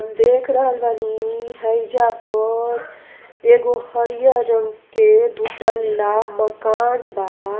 देख रहल बानी हईजा पर एगो हरियर रंग के दु तल्ला मकान बा।